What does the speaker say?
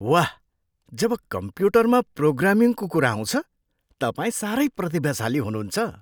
वाह! जब कम्प्युटरमा प्रोग्रामिङको कुरा आउँछ तपाईँ साह्रै प्रतिभाशाली हुनुहुन्छ।